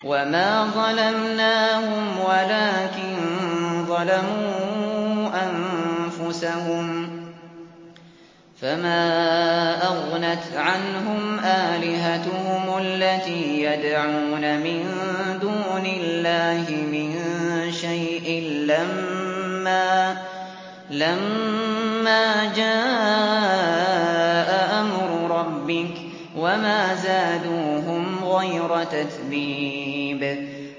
وَمَا ظَلَمْنَاهُمْ وَلَٰكِن ظَلَمُوا أَنفُسَهُمْ ۖ فَمَا أَغْنَتْ عَنْهُمْ آلِهَتُهُمُ الَّتِي يَدْعُونَ مِن دُونِ اللَّهِ مِن شَيْءٍ لَّمَّا جَاءَ أَمْرُ رَبِّكَ ۖ وَمَا زَادُوهُمْ غَيْرَ تَتْبِيبٍ